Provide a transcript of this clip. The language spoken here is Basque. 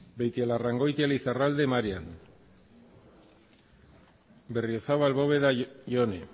beitialarrangoitia lizarralde marian berriozabal bóveda jone